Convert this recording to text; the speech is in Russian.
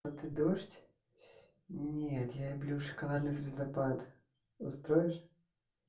это дождь нет я люблю шоколадный звездопад устроишь